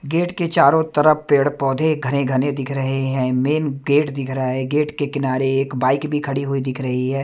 Gate के चारों तरफ पेड़ पौधे घने घने दिख रहे हैं मेन गेट दिख रहा है गेट के किनारे एक बाइक भी खड़ी हुई दिख रही है।